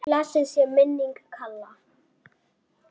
Blessuð sé minning Kalla.